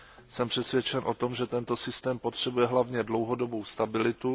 Jsem přesvědčen o tom, že tento systém potřebuje hlavně dlouhodobou stabilitu.